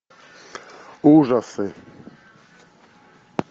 ужасы